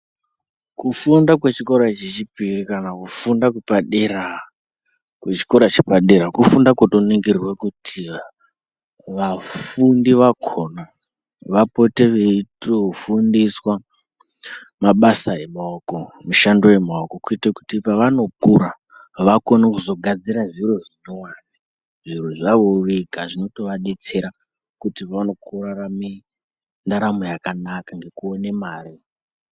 Kufunda kwechikora chechipiri, kana kufunda kwepadera, kwechikora chepadera, kufunda kunoningirwa kuti vafundi vakhona vapote veitofundiswa mabasa emaoko, mishando yemaoko kuitire kuti pavanokura vakone kuzogadzira zviro zvinyuwani, zviro zvavowo vega zvinotova detsera kuti vaone kurarama ndaramo yakanaka ngekuone mare.